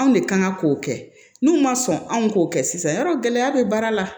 Anw de kan ka k'o kɛ n'u ma sɔn anw k'o kɛ sisan y'a dɔn gɛlɛya bɛ baara la